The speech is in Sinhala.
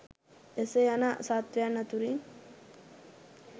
එසේ යන සත්වයන් අතුරින්